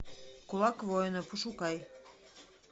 кулак воина пошукай